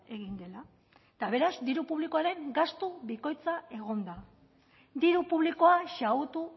egin dela eta beraz diru publikoaren gastu bikoitza egon da diru publikoa xahutu